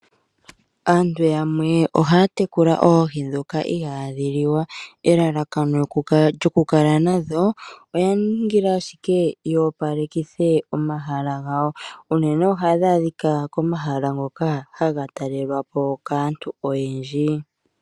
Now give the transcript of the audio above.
Aantu yamwe ohaya tekula oohi dhoka ihadhi liwa .Elalakano ndyo kukala nadho oya ningila ashike dhi opalekithe omahala gawo unene ohadhi adhika komahala ngoka haga talelwa po kaantu oyendji .